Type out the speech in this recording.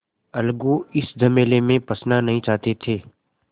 अलगू इस झमेले में फँसना नहीं चाहते थे